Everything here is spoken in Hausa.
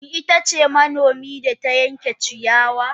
Shin ita ce manomi da ta yanke ciyawa?